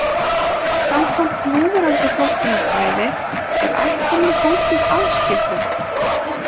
Samkvæmt núverandi flokkunarfræði er ættunum haldið aðskildum.